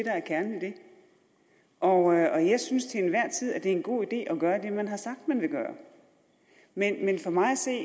og jeg synes til enhver tid at det er en god idé at gøre det man har sagt man vil gøre men for mig at se